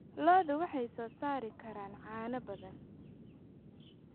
Lo'du waxay soo saari karaan caano badan.